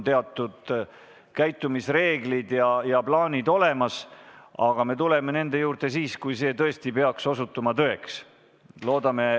Teatud käitumisreeglid siin on ja plaanid on olemas, aga me tuleme nende juurde siis, kui see peaks osutuma tõeks.